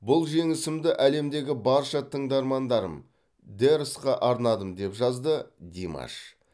бұл жеңісімді әлемдегі барша тыңдармандарым дэрсқа арнадым деп жазды димаш